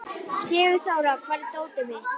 Sigurþóra, hvar er dótið mitt?